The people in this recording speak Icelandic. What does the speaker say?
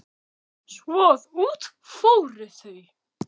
Svo að út fóru þau.